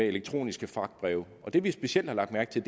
elektroniske fragtbreve og det vi specielt har lagt mærke til